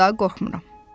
İndi daha qorxmuram.